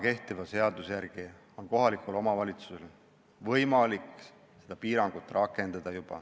Kehtiva seaduse järgi on kohalikul omavalitsusel võimalik juba seda piirangut rakendada.